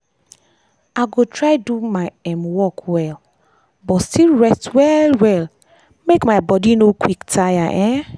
i go try do my um work well but still rest well well make my body no quick tire. um